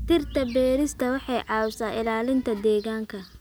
Dhirta beerista waxay caawisaa ilaalinta deegaanka.